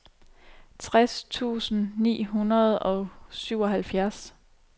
tres tusind ni hundrede og syvoghalvfjerds